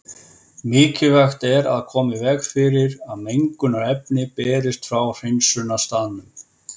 Mikilvægt er að koma í veg fyrir að mengunarefni berist frá hreinsunarstaðnum.